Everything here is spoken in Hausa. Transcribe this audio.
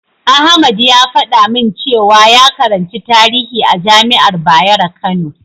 Ahmad ya faɗa min cewa ya karanci tarihi a jami'ar Bayero Kano.